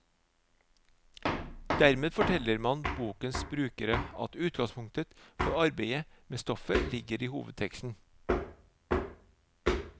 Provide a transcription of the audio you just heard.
Dermed forteller man bokens brukere at utgangspunktet for arbeidet med stoffet ligger i hovedteksten.